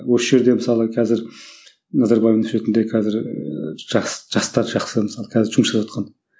осы жерде мысалы қазір назарбаев университетінде қазір ыыы жас жастар жақсы мысалы қазір жұмыс жасаватқан